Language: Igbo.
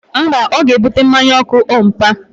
Mba, ọ ga-ebute mmanya ọkụ ompa